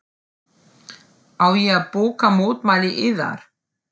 Á ég að bóka mótmæli yðar?